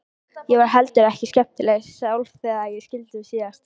Ég var heldur ekkert skemmtileg sjálf þegar við skildum síðast.